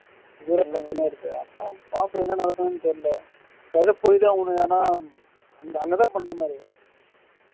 இவ்வளோ பிரச்சனை இருக்கு அப்போ பாப்போம் என்ன நடக்குதுன்னு தெரியல நா சொல்றது புரியுதா உனக்கு ஆனா அங்க அங்கதான் பண்ணுற மாதிரி